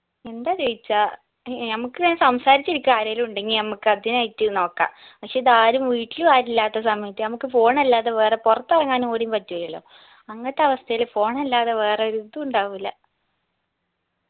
എന്താ ചോയിച്ചാ ഏർ നമ്മക്ക് ഇങ്ങനെ സംസാരിച്ച് ഇരിക്കാൻ ആരേലും ഇണ്ടെങ്കി നമ്മക്ക് അതിനായിട്ട് നോക്ക പക്ഷെ ഇത് ആരും വീട്ടിലു ആരും ഇല്ലാത്ത സമയത്ത് നമ്മക്ക് phone അല്ലാതെ വേറെ പുറത്തിറങ്ങാനും കൂടി പറ്റുന്നില്ല അങ്ങത്തവസ്ഥയില് pjone അല്ലാതെ വേറൊരിതു ഇണ്ടാവുല്ല